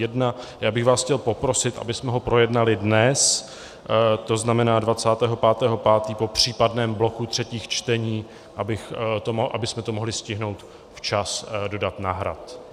Já bych vás chtěl poprosit, abychom ho projednali dnes, to znamená 25. 5., po případném bloku třetích čtení, abychom to mohli stihnout včas dodat na Hrad.